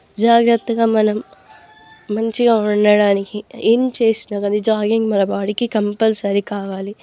జాగ్రత్తగా మనం మంచిగా ఉండడానికి ఏం చేసిన జాగింగ్ మన బాడీకి కంప్లసరి కావాలి.